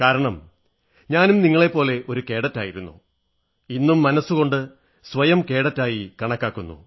കാരണം ഞാനും നിങ്ങളെപ്പോലെ ഒരു കേഡറ്റായിരുന്നു ഇന്നും മനസ്സുകൊണ്ട് സ്വയം കേഡറ്റായി കണക്കാക്കുന്നു